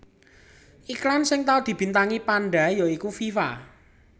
Iklan sing tau dibintangi panda ya iku Viva